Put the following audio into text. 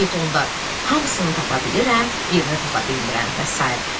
hamısını tapa bilirəm, birini tapa bilmirəm və sair.